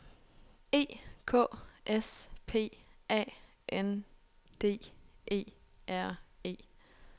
E K S P A N D E R E